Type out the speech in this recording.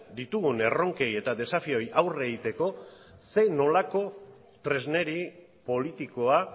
ditugun erronkei eta desafioei aurre egiteko zer nolako tresneri politikoa